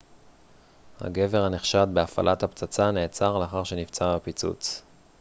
הגבר הנחשד בהפעלת הפצצה נעצר לאחר שנפצע בפיצוץ